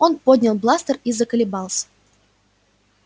он поднял бластер и заколебался